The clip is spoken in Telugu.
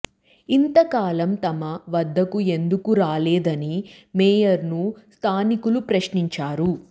ఇంత కాలం తమ వద్దకు ఎందుకు రాలేదని మేయర్ ను స్థానికులు ప్రశ్నించారు